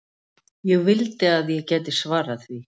Ég vildi að ég gæti svarað því.